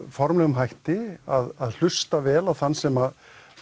formlegum hætti hlusta vel á þann sem